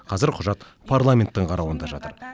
қазір құжат парламенттің қарауында жатыр